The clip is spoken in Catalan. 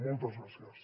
moltes gràcies